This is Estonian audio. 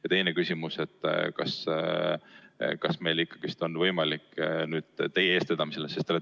Ja teine küsimus: kas meil on võimalik nüüd teie eestvedamisel midagi teha?